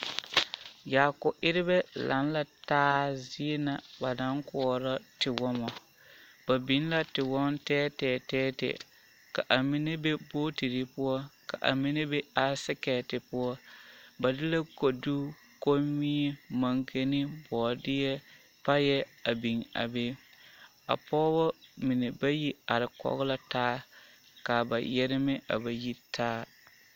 Yaako erɛbɛ laŋ la taa zie ba naŋ kɔɔro tiwɔmo ba de tiwɔmo tɛɛtɛɛ ka a mine be bootire poɔ ka mine be baasiketi poɔ ba de kodu komie mankene boodeɛ payɛ a biŋ a be a pɔgba mine bayi are kɔge la taa ka ba yɛrmɛ a ba yi taa.